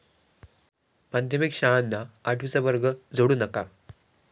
माध्यमिक शाळांना आठवीचा वर्ग जोडू नका!